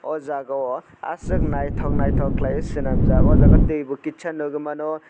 o jaga o asok naitok naitok kelaioe selamjak o jaga tui bo kisa nogoi mano.